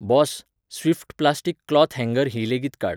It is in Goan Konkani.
बॉस, स्विफ्ट प्लास्टिक क्लॉथ हँगर हीं लेगीत काड.